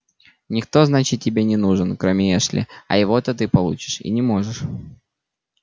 никто значит тебе не нужен кроме эшли а его-то ты получишь и не можешь